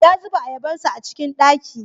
Ya zuba ayabarsa a cikin ɗaki.